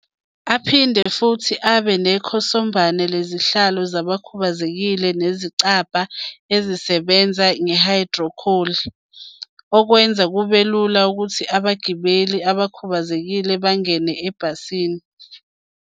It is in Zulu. Aphinde futhi abe nekhosombane lezihlalo zabakhubazekile nezicabha ezisebenza ngehayidrolikhi, okwenza kube lula ukuthi abagibeli abakhu bazekile bangene ebhasini.